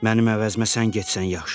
Mənim əvəzimə sən getsən yaxşıdır.